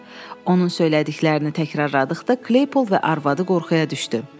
Onun söylədiklərini təkrarladıqda Klepol və arvadı qorxuya düşdü.